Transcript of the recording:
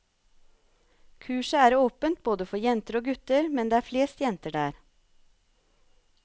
Kurset er åpent både for jenter og gutter, men det er flest jenter der.